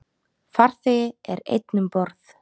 Farþegi er einn um borð.